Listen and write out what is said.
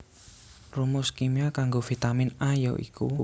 Rumus kimia kanggo Vitamin A ya iku